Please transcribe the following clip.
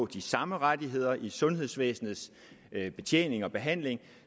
de samme rettigheder i sundhedsvæsenets betjening og behandling